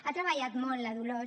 ha treballat molt la dolors